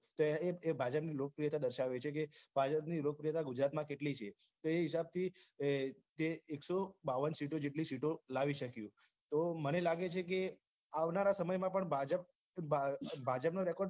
તો એ ભાજપ ની લોકપ્રિયતા બચાવે છે કે જે ભાજપ ની લોકપ્રિયતા ગુજરાતમાં કેટલી છે તો એ હિસાબ થી એ કે એક્સો બાવન જેટલી સીટો લાવી શક્યું તો મને લાગે છે કે આવનારા સમય માં પણ ભાજપ ભાજપ નો record